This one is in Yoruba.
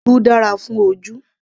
Irú dára fún ojú